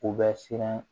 U bɛ siran